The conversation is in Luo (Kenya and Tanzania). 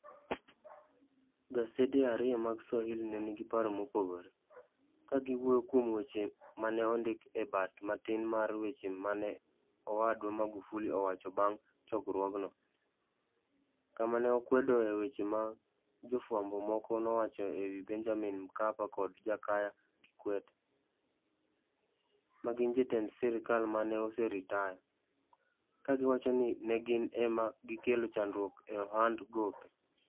Gasede ariyo mag Swahili ne nigi paro mopogore, ka giwuoyo kuom weche ma ne ondiki e bat - matin mar weche ma ne Owadwa Magufuli owacho bang ' chokruogno, kama ne okwedoe weche ma jofwambo moko nowacho e wi Benjamin Mkapa kod Jakaya Kikwete, ma gin jotend sirkal ma ne oseritaya, ka giwacho ni ne gin e ma gikelo chandruok e ohand gope.